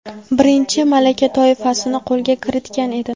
birinchi malaka toifasini qo‘lga kiritgan edi.